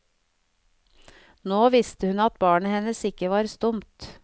Nå visste hun at barnet hennes ikke var stumt.